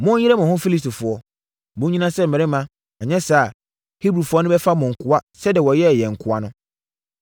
Monnyere mo ho, Filistifoɔ! Monnyina sɛ mmarima; anyɛ saa a, Hebrifoɔ no bɛfa mo nkoa sɛdeɛ wɔyɛɛ yɛn nkoa no.”